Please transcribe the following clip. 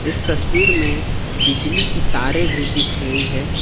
इस तस्वीर में बिजली की तारे भी दिख रही है।